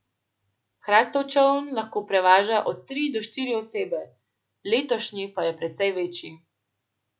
Hrastov čoln lahko prevaža od tri do štiri osebe, letošnji pa je precej večji.